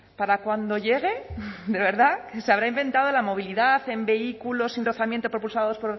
para cuando llegue de verdad que se habrá inventado la movilidad en vehículo sin rozamiento propulsados